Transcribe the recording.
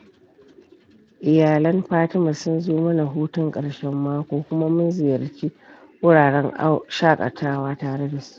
Iyalan Fatima sun zo mana hutun ƙarshen mako kuma mun ziyarci wuraren shaƙatawa tare da su